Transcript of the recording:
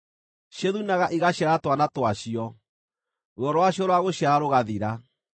Ciĩthunaga igaciara twana twacio; ruo rwacio rwa gũciara rũgathira.